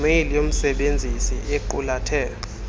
mail yomsebenzisi equlathe